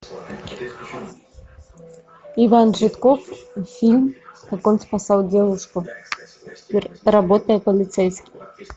иван жидков фильм как он спасал девушку работая полицейским